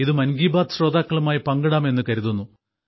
ഇത് മൻ കി ബാത്ത് ശ്രോതാക്കളുമായി പങ്കിടാം എന്നു കരുതുന്നു